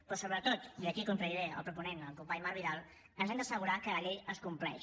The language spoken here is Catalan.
però sobretot i aquí contradiré el proponent el company marc vidal ens hem d’assegurar que la llei es compleix